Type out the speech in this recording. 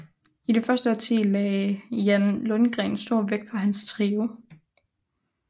I det første årti lagde Jan Lundgren stor vægt på hans trio